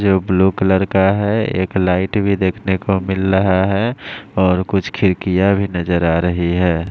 जो blue colour का है एक लाइट भी देखने को मिल रहा है और कुछ खिरकीया भी नजर आ रही है।